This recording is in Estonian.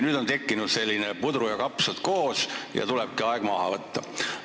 Nüüd on tekkinud selline puder ja kapsad ning tulebki aeg maha võtta.